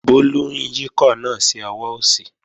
Bólú ń yíkọ̀ náà sí ọwọ́ òsì